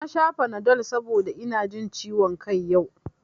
Na sha fanadol saboda ina jin ciwon kai yau